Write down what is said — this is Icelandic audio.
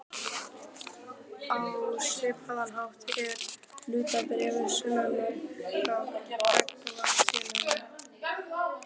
Á svipaðan hátt eru hlutabréf sönnunargagn gagnvart félaginu.